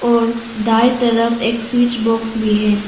और दाएं तरफ एक स्विच बॉक्स भी है।